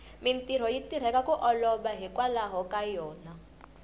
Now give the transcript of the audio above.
mintirho yi tirheka ku olova hikwalaho ka yona